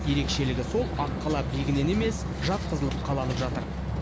ерекшелігі сол аққала биігінен емес жатқызылып қаланып жатыр